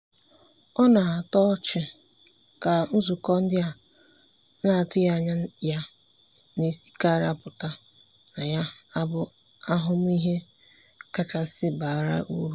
ọ na-atọ ọchị ka nzukọ ndị a na-atụghị anya ya na-esikarị apụta na-abụ ahụmịhe kachasị bara uru.